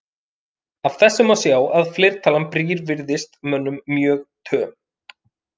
Af þessu má sjá að fleirtalan brýr virðist mönnum mjög töm.